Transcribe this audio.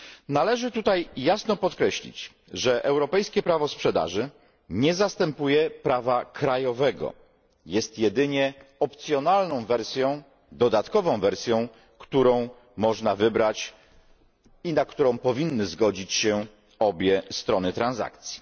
Należy tutaj jasno podkreślić, że europejskie prawo sprzedaży nie zastępuje prawa krajowego, jest jedynie opcjonalną, dodatkową wersją, którą można wybrać, i na którą powinny zgodzić się obie strony transakcji.